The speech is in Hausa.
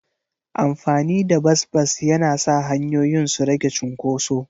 Amfani da bas-bas yana sa hanyoyin su rage cunkoso.